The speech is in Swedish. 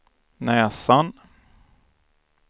näsan